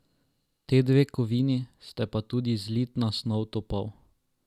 Te dve kovini ste pa tudi zlitna snov topov.